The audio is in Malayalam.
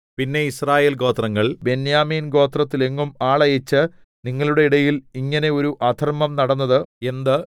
പിന്നെ യിസ്രായേൽഗോത്രങ്ങൾ ബെന്യാമീൻ ഗോത്രത്തിലെങ്ങും ആളയച്ച് നിങ്ങളുടെ ഇടയിൽ ഇങ്ങനെ ഒരു അധർമ്മം നടന്നത് എന്ത്